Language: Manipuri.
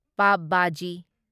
ꯄꯥꯚ ꯚꯥꯖꯤ